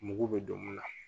Mugu bɛ don mun na